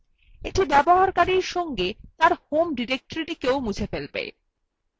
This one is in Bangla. এটি ব্যবহারকারীর সঙ্গে তার home directory মুছে ফেলে